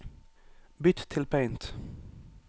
Bytt til Paint